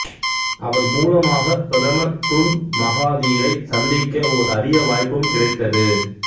அவர் மூலமாகப் பிரதமர் துன் மகாதீரைச் சந்திக்க ஓர் அரிய வாய்ப்பும் கிடைத்தது